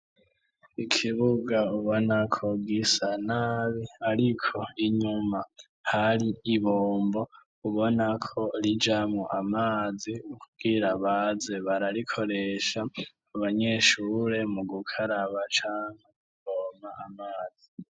Ikibuga ubona ko gisa nabi, ariko inyuma hari ibombo ubona ko rijamo amazi ubwira baze bararikoresha abanyeshure mu gukaraba canke mukuvoma amazi.